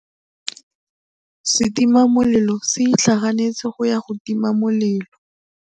Setima molelô se itlhaganêtse go ya go tima molelô.